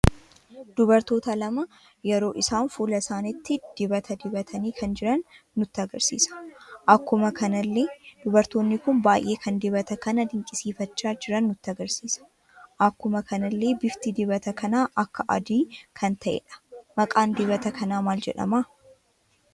Dubartoota lama yeroo isaan fuula isaaniitti dibata, dibatani kan jiran nutti agarsiisa. Akkuma kanallee dubartoonni kun baay'ee kan dibata kana dinqisiifacha jiran nutti agarsiisa. Akkuma kanalle bifti dibata kana akka, adii kan ta'edha. Maqaan dibata kana maal jedhama?